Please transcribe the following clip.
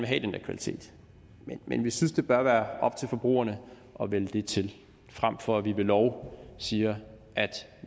have den der kvalitet men vi synes det bør være op til forbrugerne at vælge det til frem for at vi ved lov siger at